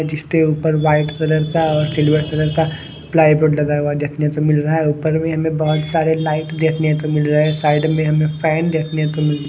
जिसते ऊपर white colour का और सिल्वर कलर का प्लाई बोर्ड लगा हुआ देखने को मिल रहा है ऊपर में हमें बहुत सारे लाइट देखने को मिल रहे हैं साइड में हमें फैन देखने को मिल--